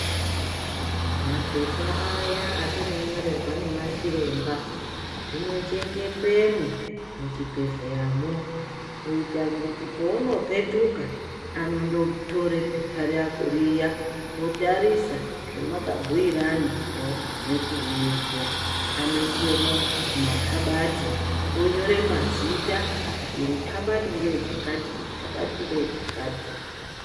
Mapepa aya atinonyorerwa nemachiremba zvinochengetwemwo muchibhedhleyamwo kuita kuti pounopetuka anondotore pepa rako riya otarisa zvamakabhuirana pawagume kuuyepo. Anoisemwo mukabati onyore mazita kuti iri kabati ngere chakati iri kabati ngere chakati.